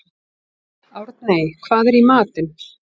Árney, hvað er í matinn?